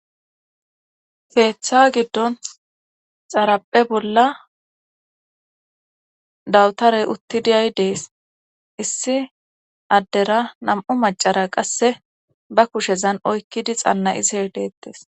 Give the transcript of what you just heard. feeththa giddon xarappe bolla dawutarey uttidiyay dees issi addera nam7u macara qasse ba kushezan oykkidi xanna'ishe deettes